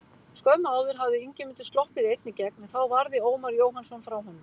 Skömmu áður hafði Ingimundur sloppið einn í gegn en þá varði Ómar Jóhannsson frá honum.